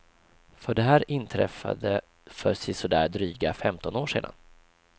För det här inträffade för sisådär dryga femton år sedan.